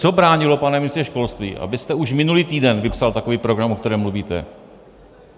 Co bránilo, pane ministře školství, abyste už minulý týden vypsal takový program, o kterém mluvíte?